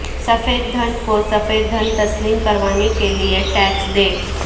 سفید دھن کو سفید دھن تسلیم کروانے کے لیے ٹیکس دیں